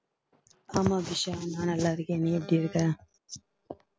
ஆமா அபிஷா நான் நல்லா இருக்கேன் நீ எப்படி இருக்க